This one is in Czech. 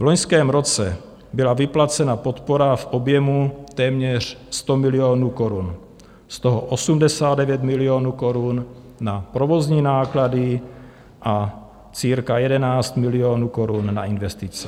V loňském roce byla vyplacena podpora v objemu téměř 100 milionů korun, z toho 89 milionů korun na provozní náklady a cirka 11 milionů korun na investice.